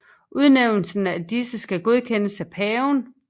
Udnævnelsen af disse skal godkendes af paven